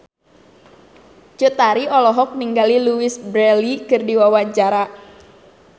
Cut Tari olohok ningali Louise Brealey keur diwawancara